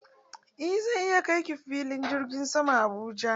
Eh zan iya kai ki filin jirgin saman Abuja.